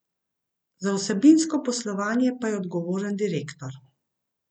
Za vsebinsko poslovanje pa je odgovoren direktor.